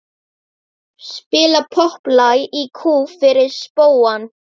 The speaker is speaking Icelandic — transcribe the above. Spila popplag í kú fyrir spóann.